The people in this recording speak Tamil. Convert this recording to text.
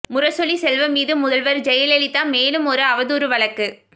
முரசொலி செல்வம் மீது முதல்வர் ஜெயலலிதா மேலும் ஒரு அவதூறு வழக்கு